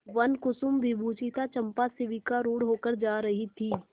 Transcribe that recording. वनकुसुमविभूषिता चंपा शिविकारूढ़ होकर जा रही थी